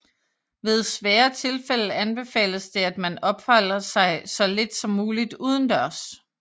Ved svære tilfælde anbefales det at man opholder sig så lidt som muligt udendørs